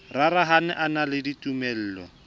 rarahane e na le ditumelo